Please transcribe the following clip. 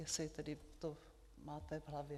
Jestli tedy to máte v hlavě?